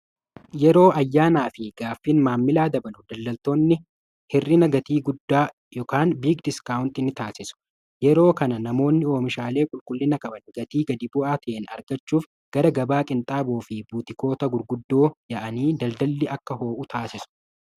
Yeroo ayyaanaa fi gaaffin maammilaa dabanu daldaltoonni hir'ina gatii guddaa " biig diskaawunti " ni taasisu yeroo kana namoonni oomishaalee qulqullina waban gatii gadi bu'aa ta'en argachuuf gara gabaa qinxaaboo fi buutikoota gurguddoo ya'anii daldalli akka ho'uu taasisu.